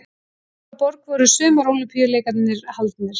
Í hvaða borg voru Sumar-Ólympíuleikarnir haldnir?